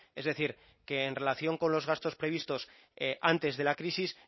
es decir que en relación con los gastos previstos antes de la crisis